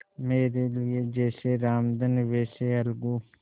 मेरे लिए जैसे रामधन वैसे अलगू